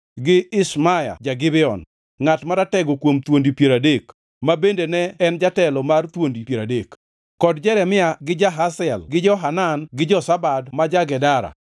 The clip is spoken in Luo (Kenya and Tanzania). gi Ishmaya ja-Gibeon, ngʼat maratego kuom thuondi piero adek, ma bende ne en jatelo mar thuondi piero adek, kod Jeremia gi Jahaziel gi Johanan gi Jozabad ma ja-Gedera,